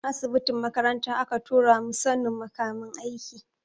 Asibitin makaranta aka tura mu sanin makamin aiki.